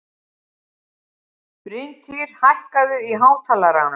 Bryntýr, hækkaðu í hátalaranum.